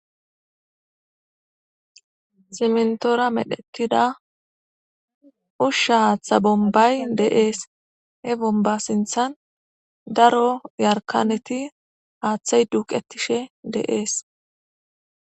Siminitora medhetida usha hatha bonibay de'es he boniba sinthan daro yarikaneti hathayi duqetishe dees